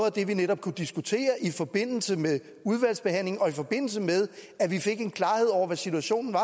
af det vi netop kunne diskutere i forbindelse med udvalgsbehandlingen og i forbindelse med at vi fik en klarhed over hvad situationen